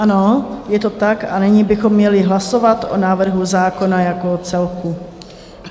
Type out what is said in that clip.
Ano, je to tak, a nyní bychom měli hlasovat o návrhu zákona jako celku.